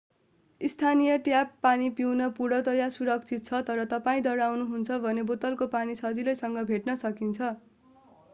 स्थानीय ट्याप पानी पिउन पूर्णतया सुरक्षित छ तर तपाईं डराउनुहुन्छ भने बोतलको पानी सजिलैसँग भेट्न सकिन्छ